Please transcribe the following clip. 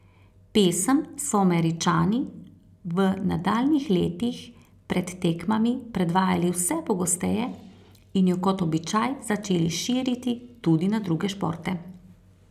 Pesem so Američani v nadaljnjih letih pred tekmami predvajali vse pogosteje in jo kot običaj začeli širiti tudi na druge športe.